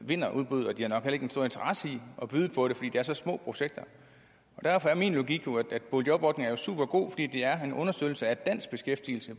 vinder udbuddet og de har nok interesse i at byde på det fordi det er så små projekter derfor er min logik jo at boligjobordningen er supergod fordi det er en understøttelse af dansk beskæftigelse